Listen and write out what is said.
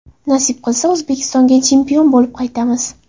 Nasib qilsa, O‘zbekistonga chempion bo‘lib qaytamiz.